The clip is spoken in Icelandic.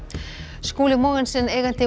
Skúli Mogensen eigandi